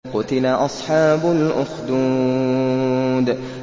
قُتِلَ أَصْحَابُ الْأُخْدُودِ